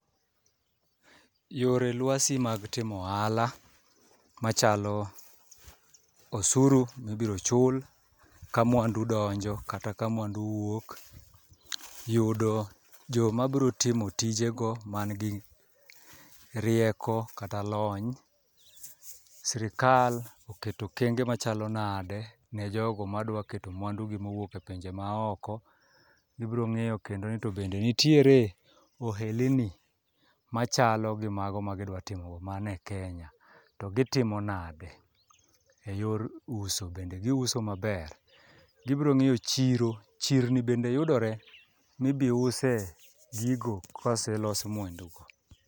Yore lwasi mag timo ohala machalo osuru mibiro chul ka mwandu donjo kata kamwandu wuok. Yudo joma bro timo tije go man gi rieko kata lony, sirikal oketo okenge ma chalo nade ne jogo madwa keto mwandu gi mowuok e pinje maoko. Gibro ng'eyo kendo ni to bende nitiere ohelni ma chalo gi mago ma gidwa timo go mane Kenya to gitimo nade e yor uso. Bende giuso maber, gibro ng'iyo chiro, chirni bende yudore mibi use gigo koselos mwandu go.